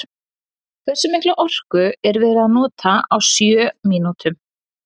Hversu mikla orku er verið að nota á sjö mínútum?